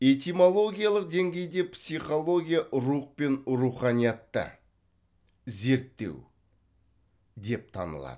этимологиялық деңгейде психология рух пен руханиятты зерттеу деп танылады